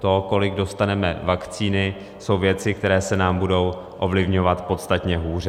To, kolik dostaneme vakcíny, jsou věci, které se nám budou ovlivňovat podstatně hůře.